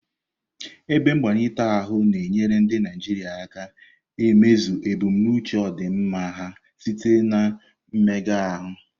Ebe mgbatị ahụ na-enyere ndị Naijiria aka imezu ebumnuche ọdịmma ha site na mmega ahụ.